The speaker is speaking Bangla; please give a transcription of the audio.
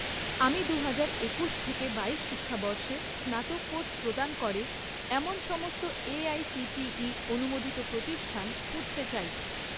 আমি দুহাজার একুশ থেকে বাইশ শিক্ষাবর্ষে স্নাতক কোর্স প্রদান করে এমন সমস্ত এআইসিটিই অনুমোদিত প্রতিষ্ঠান খুঁজতে চাই